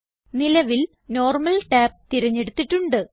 നിലവിൽ normal tab തിരഞ്ഞെടുത്തിട്ടുണ്ട്